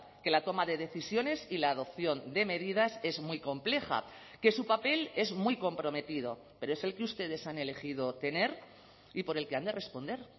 que la toma de decisiones y la adopción de medidas es muy compleja que su papel es muy comprometido pero es el que ustedes han elegido tener y por el que han de responder